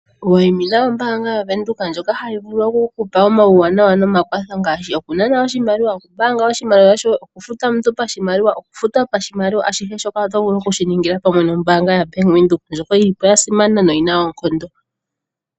Wayimina ombaanga yaVenduka ndjoka hayi vulu oku ku pa omakwatho ngaashi okunana oshimaliwa, okumbaanga oshimaliwa shoye, okufuta omuntu pashimaliwa, okufuta pashimaliwa, ashihe shoka oto vulu oku shi ningila pamwe nombaanga yaBank Windhoek ndjoka yi li po ya simana noyi na oonkondo.